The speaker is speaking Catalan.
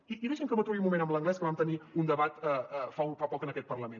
i deixi’m que m’aturi un moment en l’anglès que en vam tenir un debat fa poc en aquest parlament